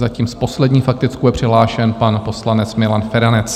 Zatím poslední s faktickou je přihlášen pan poslanec Milan Feranec.